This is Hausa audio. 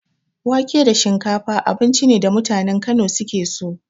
Wake da shinkafa abinci ne da mutanen Kano suke so.